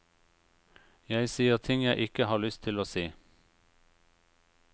Jeg sier ting jeg ikke har lyst til å si.